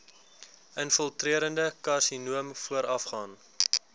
infiltrerende karsinoom voorafgaan